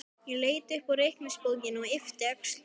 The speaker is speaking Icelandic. Ég leit upp úr reikningsbókinni, yppti öxlum.